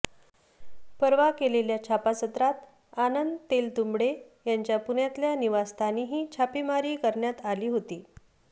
परवा केलेल्या छापासत्रात आनंद तेलतुंबडे यांच्या पुण्यातल्या निवासस्थानीही छापेमारी करण्यात आली होती